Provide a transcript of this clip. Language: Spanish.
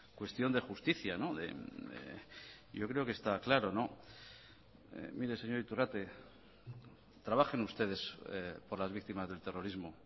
cuestión de justicia yo creo que está claro mire señor iturrate trabajen ustedes por las víctimas del terrorismo